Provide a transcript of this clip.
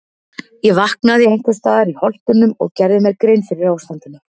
Ég vaknaði einhvers staðar í Holtunum og gerði mér grein fyrir ástandinu.